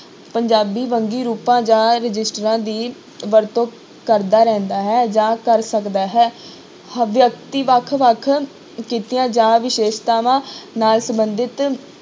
ਪੰਜਾਬੀ ਵੰਨਗੀ ਰੂਪਾਂ ਜਾਂ ਰਜਿਸਟਰਾਂ ਦੀ ਵਰਤੋਂ ਕਰਦਾ ਰਹਿੰਦਾ ਹੈ ਜਾਂ ਕਰ ਸਕਦਾ ਹੈ, ਹ~ ਵਿਅਕਤੀ ਵੱਖ ਵੱਖ ਕਿੱਤਿਆਂ ਜਾਂ ਵਿਸ਼ੇਸ਼ਤਾਵਾਂ ਨਾਲ ਸੰਬੰਧਿਤ